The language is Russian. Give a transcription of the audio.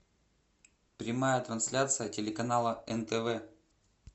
прямая трансляция телеканала нтв